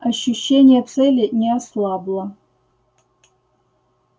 ощущение цели не ослабло